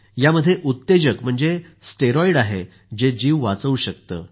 यामध्ये उत्तेजक म्हणजे स्टेरॉईड आहे जे जीव वाचवू शकते